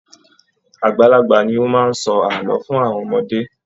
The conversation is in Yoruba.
Àgbàlagbà ní o máa n sọ ààlọ́ fún àwọn ọmọdé.